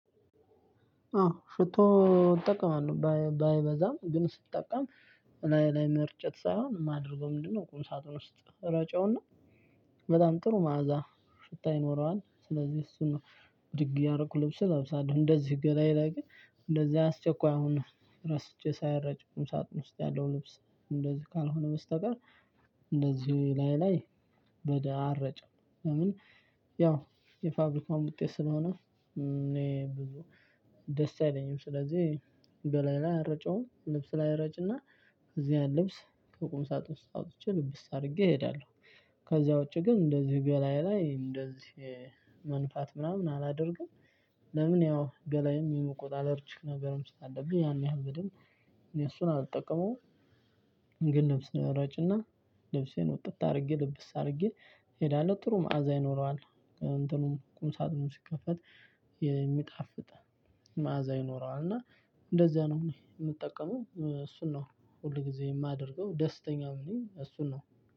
አዎ ሽቶ እጠቀማለሁ ባይበዛም ግን ስጠቀም እላዬ ላይ መርጨት ሳይሆን ማደርገው ምንድነው? ቁም ሳጥኑ ውስጥ እረጨውና። በጣም ጥሩ መዓዛ ሽታ ይኖረዋል ስለዚህ እሱን ብድግ እያደረኩ ልብስ እለብሳለሁ። እንደዚህ ገላዬ ላይ ግን እንደዚህ አስቸኳይ ሆኖ ረስቼ ሳይረጭ ቁም ሳጥን ውስጥ ያለው ልብስ እንደዚህ ካልሆነ በስተቀር እንደዚህ እላዬ ላይ ወዲያው አልረጪም። ለምን? ያው የፋብርካውም ውጤት ስለሆነ እኔ ብዙ ደስ አይለኝም ስለዚሁ ገላዬ ላይ አልረጨውም። ልብሴ ላይ እረጭ እና እዚያ ልብስ ከቁም ሳጥን ውስጥ አውጥቼ ልብስ አድርጌ እሄዳለሁ። ከዛ ውጪ ግን እንደዚህ በላዬ ላይ እንደዚህ መንፋት ምናምን አላደርግም። ለምን? ያው ገላዬን የቆዳ አለርጂክ ነገር ስላለብኝ ያን ያህል በደንብ እሱን አልጠቀመውም። ግን ልብስን እረጭና ልብሴን ውጥት አድርጌ ልብስ አድርጌ እሄዳለሁ። ጥሩ መዓዛ ይኖረዋል እንትኑም ቁም ሳጥኑም ሲከፈት የሚጣፍጥ መዓዛ ይኖረዋል። እና እንደዚያ ነው የምጠቀመው እሱን ነው። ሁል ጊዜ የማደርገው ደስተኛም ነኝ እሱን ነው።